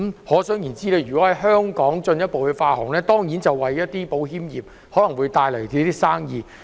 可想而知，如果可以在香港進一步發行，當然會為保險業帶來生意。